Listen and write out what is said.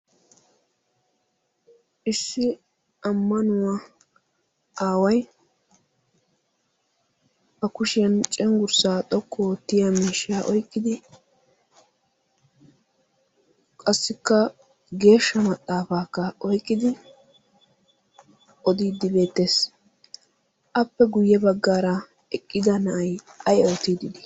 Issi ammanuwa aaway ba kushiya cenggurssa xoqqu oottiya miishsha oyqiddi qassikka geeshsha mxaafakka oyqidi odidde beetees. appe guyye baggara eqqida nay ay odidde dii?